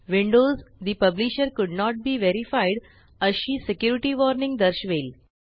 windows the publisher could not be verified अशी security warning दर्शवेल